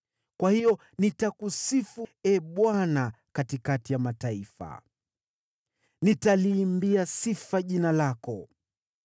Kwa hiyo nitakusifu, Ee Bwana , katikati ya mataifa; nitaliimbia sifa jina lako.